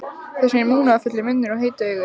Þessi munúðarfulli munnur og heitu augu.